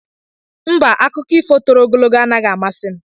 Mba, akụkọ ifo toro ogologo anaghị amasị m.